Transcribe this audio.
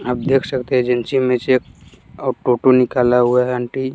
आप देख सकते हैं एजेंसी में से एक टोटो निकाला हुआ है आंटी--